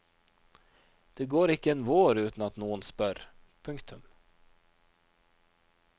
Det går ikke en vår uten at noen spør. punktum